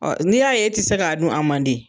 Ɔ n'i y'a ye e ti se k'a dun a man di